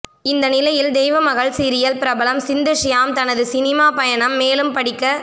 இந்த நிலையில் தெய்வமகள் சீரியல் பிரபலம் சிந்து ஸ்யாம் தன் சினிமா பயணம் மேலும் படிக்க